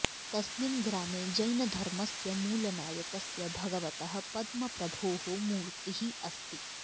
तस्मिन् ग्रामे जैनधर्मस्य मूलनायकस्य भगवतः पद्मप्रभोः मूर्तिः अस्ति